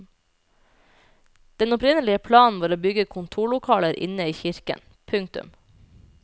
Den opprinnelige planen var å bygge kontorlokaler inne i kirken. punktum